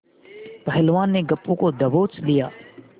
पहलवान ने गप्पू को दबोच लिया